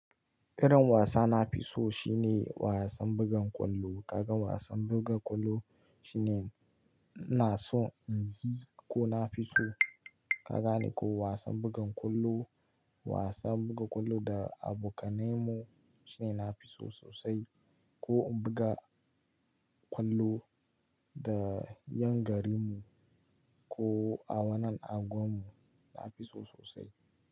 Irin wasa na fi so shine wasan bugan kwallo. Kaga wasan buga kwallo shine ina so in yi ko na fi so. Ka gane ko wasan bugan kwallo, wasan buga kwallo da abokanai mu shine na fi so sosai. Ko in buga kwallo da yan garin mu ko a wannan anguwan mu, na fi so sosai.